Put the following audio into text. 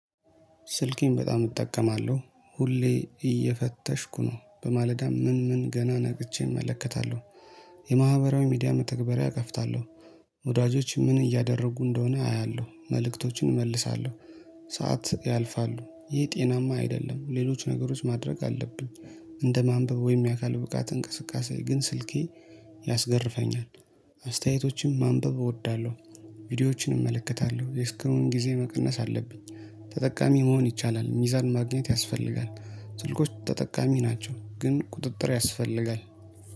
ስልኬን በጣም እጠቀማለሁ ሁሌ እየፈተሽኩ ነው በማለዳ ምን ምን ገና ነቅቼ እመለከታለሁ። የማህበራዊ ሚዲያ መተግበሪያ እከፍታለሁ። ወዳጆች ምን እያደረጉ እንደሆነ አያለሁ መልእክቶችን እመልሳለሁ። ሰዓት ያልፋሉ ይህ ጤናማ አይደለም ሌሎች ነገሮች ማድረግ አለብኝ። እንደ ማንበብ ወይም የአካል ብቃት እንቅስቃሴ ግን ስልኬ ያስገርፈኛል። አስተያየቶችም ማንበብ እወዳለሁ። ቪዲዮዎችን እመለከታለሁ የስክሬን ጊዜ መቀነስ አለብኝ። ተጠቃሚ መሆን ይቻላል ሚዛን ማግኘት ያስፈልጋል። ስልኮች ተጠቃሚ ናቸው ግን ቁጥጥር ያስፈልጋል